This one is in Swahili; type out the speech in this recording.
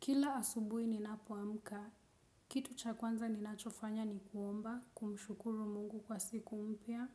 Kila asubuhi ninapoamka, kitu cha kwanza ninachofanya ni kuomba, kumshukuru Mungu kwa siku mpya.